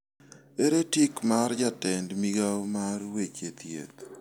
Ere tig' mar jatend migawo mar weche thieth?